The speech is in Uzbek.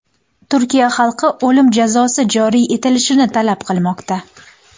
Turkiya xalqi o‘lim jazosi joriy etilishini talab qilmoqda.